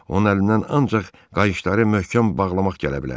Onun əlindən ancaq qayışları möhkəm bağlamaq gələ bilər.